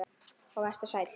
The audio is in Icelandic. Og vertu sæll.